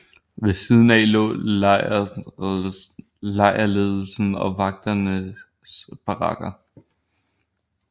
Ved siden af lå lejrledelsens og vagternes barakker